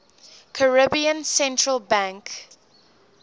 caribbean central bank